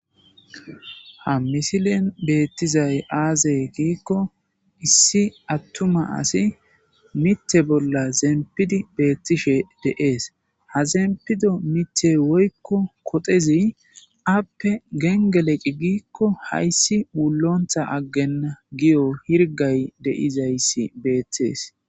Ha misilen beettizay aaze giikko issi attuma asi mite bolla zempidi beettishe de7ees ha zempido mithe woykko kotezi appe gengeleqi giikko hayssi ulontha aggenna giyo hirgay deizayssi beetthees